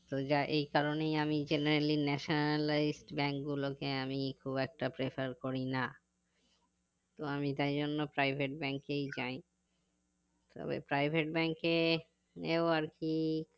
তো যা এই কারণেই আমি generally nationalised bank গুলোকে আমি খুব একটা prefer করি না তো আমি তাই জন্যই private bank কেই যাই তবে private bank এ এও আরকি